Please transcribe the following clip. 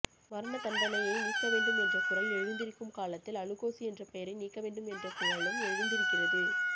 மரணதண்டனையை நீக்கவேண்டும் என்ற குரல் எழுந்திருக்கும் காலத்தில் அலுகோசு என்ற பெயரை நீக்கவேண்டும் என்ற குரலும் எழுந்திருக்கிறது